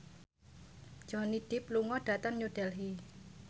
Johnny Depp lunga dhateng New Delhi